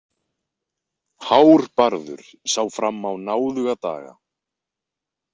Hárbarður sá fram á náðuga daga.